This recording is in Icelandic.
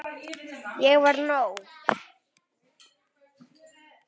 Ég var nóg.